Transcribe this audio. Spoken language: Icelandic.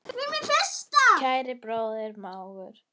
Kæri bróðir og mágur.